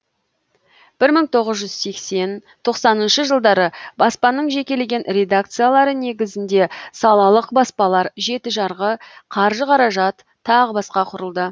бір мың тоғыз жүз сексен тоқсаныншы жылдары баспаның жекелеген редакциялары негізінде салалық баспалар жеті жарғы қаржы қаражат тағы басқа құрылды